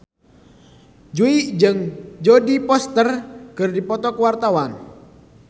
Jui jeung Jodie Foster keur dipoto ku wartawan